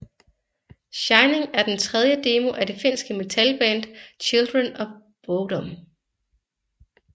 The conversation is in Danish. Shining er den tredje demo af det finske metalband Children of Bodom